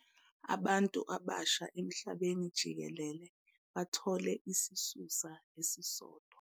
Abantu abasha emhlabeni jikelele bathole isisusa esisodwa.